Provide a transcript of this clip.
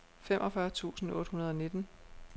femogfyrre tusind otte hundrede og nitten